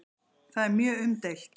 Það er mjög umdeilt.